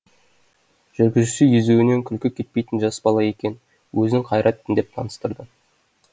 жүргізуші езуінен күлкі кетпейтін жас бала екен өзін қайратпын деп таныстырды